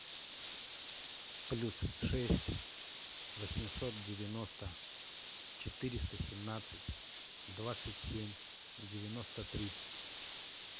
плюс шесть восемьсот девяносто четыреста семнадцать двадцать семь девяносто три